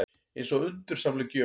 Eins og undursamleg gjöf.